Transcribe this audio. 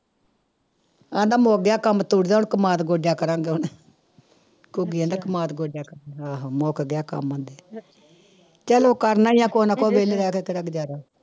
ਕਹਿੰਦਾ ਕੰਮ ਤੋਰਿਆ ਹੁਣ ਕਮਾਦ ਗੋਡਿਆ ਕਰਾਂਗੇ ਹੁਣ ਘੁੱਗੀ ਕਹਿੰਦਾ ਕਮਾਦ ਗੋਡਿਆ ਕਰਾਂ, ਆਹੋ ਮੁੱਕ ਗਿਆ ਕੰਮ ਉੱਥੇ ਚਲੋ ਕਰਨਾ ਹੀ ਆ ਕੁਛ ਨਾ ਕੁਛ ਵਿਹਲੇ ਰਹਿ ਕੇ ਕਿਹੜਾ ਗੁਜ਼ਾਰਾ।